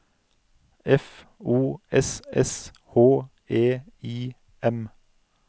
F O S S H E I M